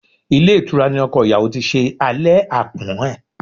Ilé ìtura ní ọkọ ìyàwó tí ṣe alẹ́ àpọ́n ẹ̀.